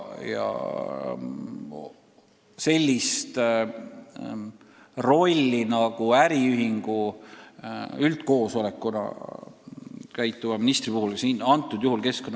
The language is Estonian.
Sellist rolli, nagu ministril on äriühingu üldkoosolekuna, kõnealusel juhul mul ei ole.